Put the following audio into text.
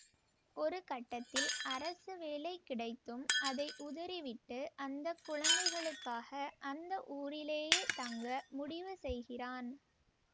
ஒரு கட்டத்தில் அரசு வேலை கிடைத்தும் அதை உதறிவிட்டு அந்த குழந்தைகளுக்காக அந்த ஊரிலேயே தங்க முடிவு செய்கிறான்